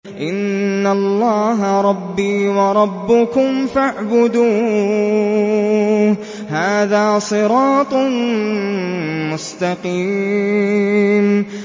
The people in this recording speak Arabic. إِنَّ اللَّهَ رَبِّي وَرَبُّكُمْ فَاعْبُدُوهُ ۗ هَٰذَا صِرَاطٌ مُّسْتَقِيمٌ